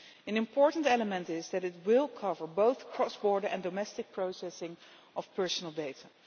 An important element is that it will cover both cross-border and domestic processing of personal data.